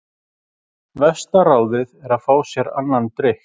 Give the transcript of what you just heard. Versta ráðið er að fá sér annan drykk.